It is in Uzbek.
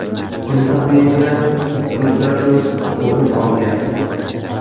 Kun taqvimida ikki uchrashuv o‘rin olgan.